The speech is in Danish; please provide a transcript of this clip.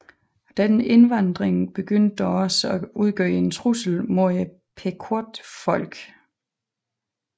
Denne indvandring begyndte dog også at udgøre en trussel mod Pequotfolket